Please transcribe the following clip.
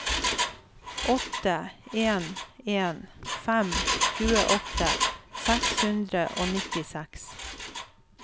åtte en en fem tjueåtte seks hundre og nittiseks